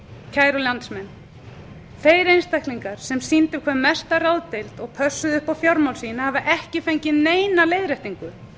kæru landsmenn þeir einstaklingar sem sýndu hvað mesta ráðdeild og pössuðu upp á fjármál sín hafa ekki fengið neina leiðréttingu